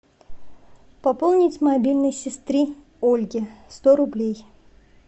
пополнить мобильный сестры ольги сто рублей